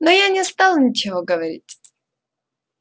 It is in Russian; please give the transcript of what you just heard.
но я не стал ничего говорить